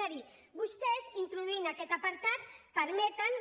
és a dir vostès introduint aquest apartat permeten